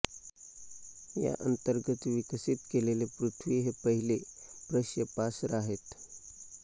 या अंतर्गत विकसित केलेले पृथ्वी हे पहिले प्रक्षेपास्त्र आहे